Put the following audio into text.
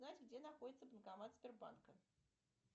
знаешь где находится банкомат сбербанка